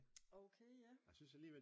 Okay ja